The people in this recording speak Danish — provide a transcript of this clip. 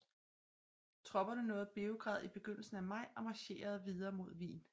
Tropperne nåede Beograd i begyndelsen af maj og marcherede videre mod Wien